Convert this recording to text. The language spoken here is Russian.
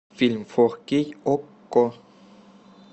фильм фор кей окко